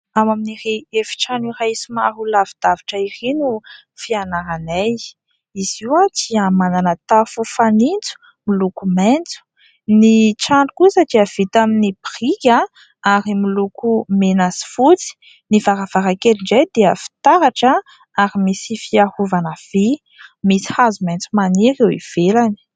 Ao amin'iry efitrano iray somary ho lavidavitra iry no fianaranay, izy io dia manana tafo fanintso miloko maintso, ny trano kosa dia vita amin'ny brika ary miloko mena sy fotsy ny varavarakely indray dia fitaratra ary misy fiarovana vy ; misy hazo maintso maniry eo ivelany.